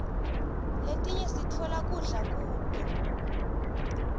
letinye siftola kudla kuto